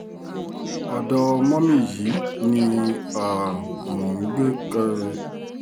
ọ̀dọ́ mọ́mì yìí ni um mò ń gbé